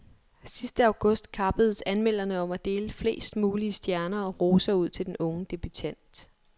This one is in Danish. Sidste august kappedes anmelderne om at dele flest mulige stjerner og roser ud til den unge debutant.